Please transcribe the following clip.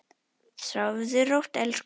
Sofðu rótt, elsku vinur.